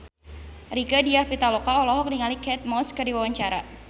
Rieke Diah Pitaloka olohok ningali Kate Moss keur diwawancara